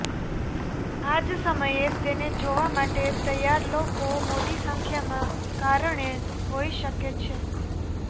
આ જ સમયે તેને જોવા માટે તૈયાર લોકો મોટી સંખ્યામાં કારણે હોઈ શકે છે